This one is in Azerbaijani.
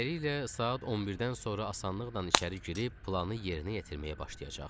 Beləliklə, saat 11-dən sonra asanlıqla içəri girib planı yerinə yetirməyə başlayacaqdı.